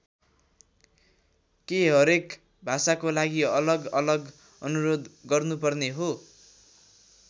के हरेक भाषाको लागि अलग अलग अनुरोध गर्नुपर्ने हो?